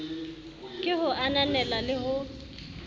ke ho ananela le ho